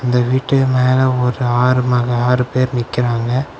இந்த வீட்டு மேல ஒரு ஆறு மகா ஆறு பேர் நிக்குறாங்க.